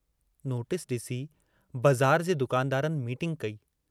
Notice DC बज़ार जे दुकानदारनि मीटिंग कई।